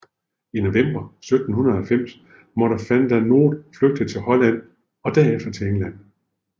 I november 1790 måtte Van der Noot flygte til Holland og derefter til England